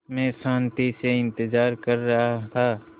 मैं शान्ति से इंतज़ार कर रहा था